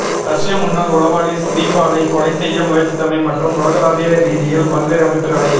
ரஷ்ய முன்னாள் உளவாளி ஸ்கிரிபாலை கொலை செய்ய முயற்சித்தமை மற்றும் உலகளாவிய ரீதியில் பல்வேறு அமைப்புகளை